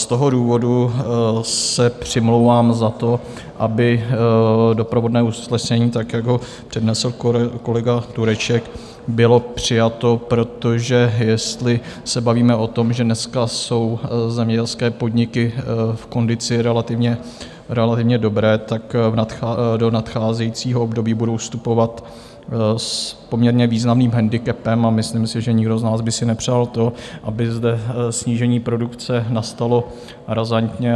Z toho důvodu se přimlouvám za to, aby doprovodné usnesení tak, jak ho přednesl kolega Tureček, bylo přijato, protože jestli se bavíme o tom, že dneska jsou zemědělské podniky v kondici relativně dobré, tak do nadcházejícího období budou vstupovat s poměrně významným handicapem a myslím si, že nikdo z nás by si nepřál to, aby zde snížení produkce nastalo razantně.